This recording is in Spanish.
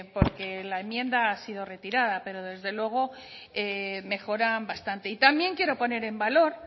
porque la enmienda ha sido retirada pero desde luego mejoran bastante y también quiero poner en valor